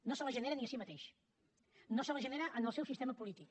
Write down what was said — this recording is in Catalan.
no se la genera ni a si mateix no se la genera en el seu sistema polític